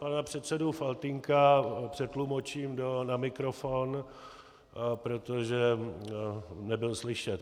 Pana předsedu Faltýnka přetlumočím na mikrofon, protože nebyl slyšet.